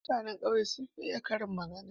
Mutane ƙauye sun fi iya karin magana.